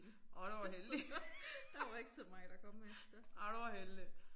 Åh der var heldig. Ej der var heldig